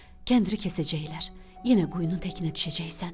Kəndiri kəsəcəklər, yenə quyunun təkinə düşəcəksən.